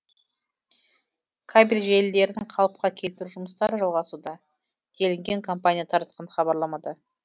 кабель желілерін қалыпқа келтіру жұмыстары жалғасуда делінген компания таратқан хабарламада